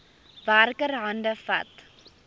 werker hande vat